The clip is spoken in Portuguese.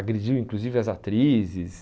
Agrediu inclusive as atrizes.